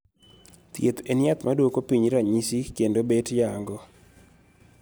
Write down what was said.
Thiedh en yath madwoko piny ranyisi kendo bet yang'o